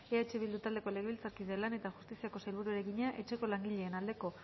eh bildu taldeko legebiltzarkideak lan eta justiziako sailburuari egina etxeko langileen aldeko